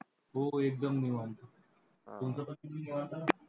हो एकदम निवांत. तुमचं कसं बी निवांत?